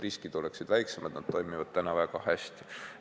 Riskid oleksid väiksemad ja need toimivad praegu väga hästi.